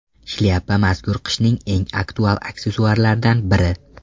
Shlyapa mazkur qishning eng aktual aksessuarlaridan biri.